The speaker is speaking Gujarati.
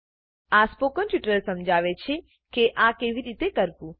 આ સ્પોકન ટ્યુટોરીયલ સમજાવે છે કે આ કેવી રીતે કરવું